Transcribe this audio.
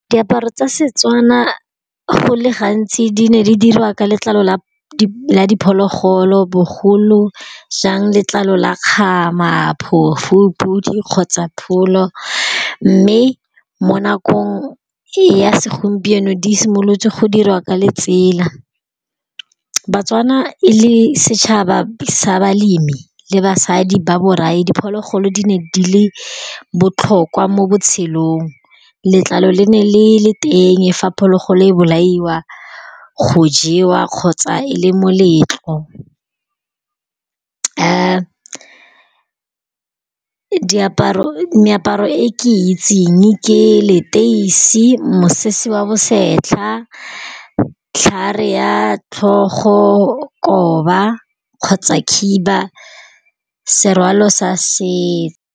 Diaparo tsa Setswana go le gantsi di ne di dirwa ka letlalo la diphologolo bogolo jang letlalo la kgama, phofu, podi, kgotsa pholo mme mo nakong ya segompieno di simolotse go dirwa ka letsela, baTswana e le setšhaba sa balemi le basadi ba borae diphologolo di ne di le botlhokwa mo botshelong letlalo le ne le le teng e fa phologolo e bolaiwa go jewa kgotsa e le moletlo meaparo e e ke itseng ke leteisi, mosese wa bosetlha, ditlhare ya tlhogo, koba, kgotsa khiba, serwalo sa setso.